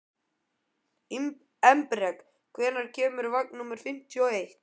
Embrek, hvenær kemur vagn númer fimmtíu og eitt?